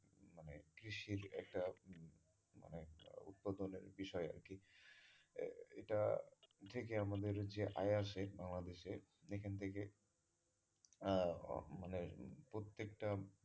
কৃষির একটা মানে একটা উৎপাদনের বিষয় আরকি এটা থেকে আমাদের যে আয় আসে বাংলাদেশে এখান থেকে আহ মানে প্রত্যেক টা,